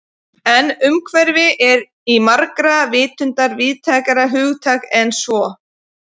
En umhverfi er í margra vitund víðtækara hugtak en svo.